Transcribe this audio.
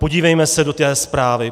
Podívejme se do té zprávy.